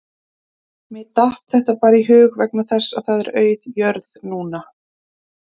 Mér datt þetta bara í hug vegna þess að það er auð jörð núna